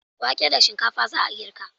Wake da shinkfa za a girka.